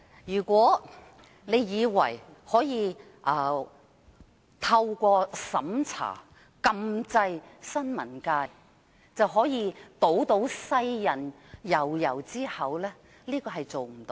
如果有人以為可以透過審查禁制新聞界，便可以堵住世人悠悠之口，這樣是做不到的。